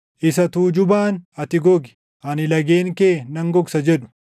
isa tuujubaan, ‘Ati gogi; ani lageen kee nan gogsa’ jedhu,